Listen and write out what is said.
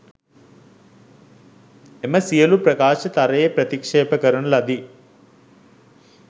එම සියලූ ප්‍රකාශ තරයේ ප්‍රතික්ෂේප කරන ලදී